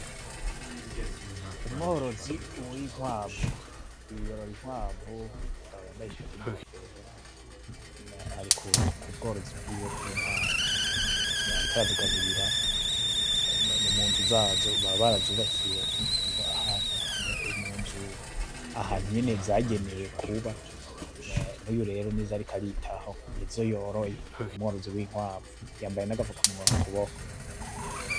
Umworozi w'inkwavu : Uwu yorora inkwavu, umugabo yambaye ishati n'inkofero ari ku bworozi bwiwe bw'inkwavu ariko arazigaburira. Ni munzu zazo, baba bazubakiye ahantu munzu, ahantu nyene zagenewe kuba. N'uyu rero nizo ariko aritaho. Nizo yoroye, ni umworozi w'inkwavu yambaye n'agafukamunwa ku kuboko.